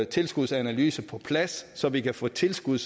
tilskudsanalyse på plads så vi kan få tilskud